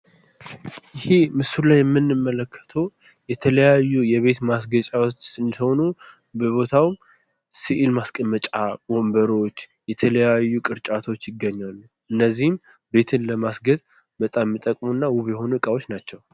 ይሄ ምስሉ ላይ የምንመለከተዉ የተለያየ የቤት ማስጌጫዎች ሆኖ በቦታዉ ስዕል ማስቀመጫ ወንበሮች የተለያዩ ቅርጫቶች ይገኛሉ። እነዚህ ቤትን ለማስጌጥ እና ዉብ የሆኑ እቃዎች ናቸዉ።